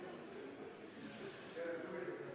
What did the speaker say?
Palun alustada häälte lugemist!